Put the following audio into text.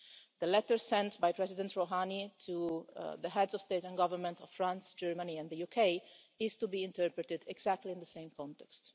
The letter sent by President Rouhani to the Heads of State and Government of France, Germany and the UK is to be interpreted exactly in the same context.